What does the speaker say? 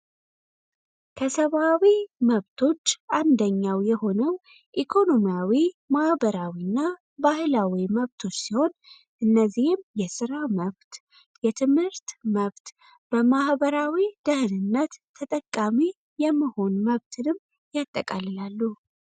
ከሰባዊ መብቶች አንደኛው የሆነው ኢኮኖሚያዊ ማህበራዊ እና ባህላዊ መብቶች ሲሆን እነዚህም የሥራ መብት የትምህርት መብት በማሕበራዊ ደህንነት ተጠቃሚ የመሆን መብትንም ያጠቃልላሉ።